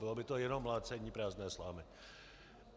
Bylo by to jenom mlácení prázdné slámy.